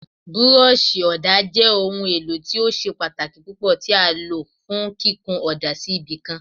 Búrọ́ọ̀ṣì ọ̀dà jẹ́ ohun èlò tí ó ṣe pàtàkì púpọ̀ tí a lò fún kíkun ọ̀dà sí ibì kan.